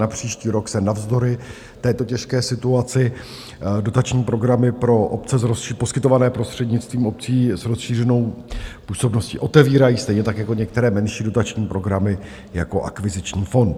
Na příští rok se navzdory této těžké situaci dotační programy pro obce, poskytované prostřednictvím obcí s rozšířenou působností, otevírají, stejně tak jako některé menší dotační programy jako akviziční fond.